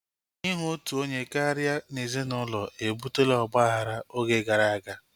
Ihu otu onye karịa n'ezinụlọ ebutela ọgbaghara oge gara aga